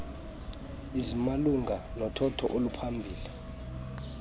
ezimalunga nothotho oluphambili